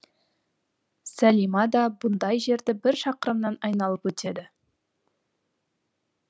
сәлима да бұндай жерді бір шақырымнан айналып өтеді